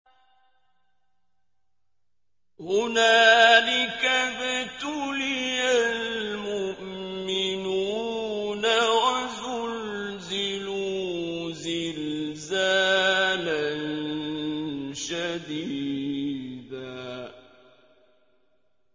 هُنَالِكَ ابْتُلِيَ الْمُؤْمِنُونَ وَزُلْزِلُوا زِلْزَالًا شَدِيدًا